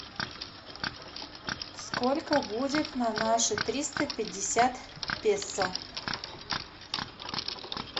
сколько будет на наши триста пятьдесят песо